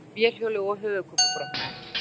Datt af vélhjóli og höfuðkúpubrotnaði